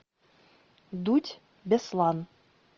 дудь беслан